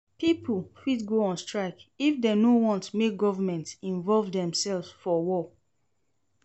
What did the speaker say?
Pipo fit go on strike if dem no want make government involve themselves for war